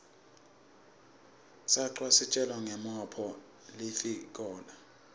sacwa kutjelasibona ngomophg lifikola